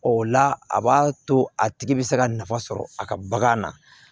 O la a b'a to a tigi bɛ se ka nafa sɔrɔ a ka bagan na